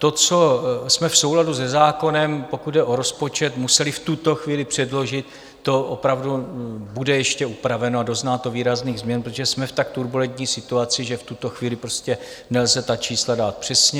To, co jsme v souladu se zákonem, pokud jde o rozpočet, museli v tuto chvíli předložit, to opravdu bude ještě upraveno a dozná to výrazných změn, protože jsme v tak turbulentní situaci, že v tuto chvíli prostě nelze ta čísla dát přesně.